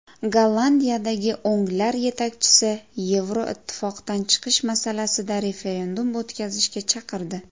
Gollandiyadagi o‘nglar yetakchisi Yevroittifoqdan chiqish masalasida referendum o‘tkazishga chaqirdi.